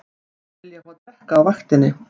Vilja fá að drekka á vaktinni